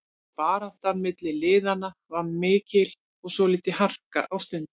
Baráttan milli liðanna var mikil og svolítil harka á stundum.